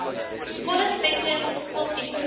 volle spektrum skooltipes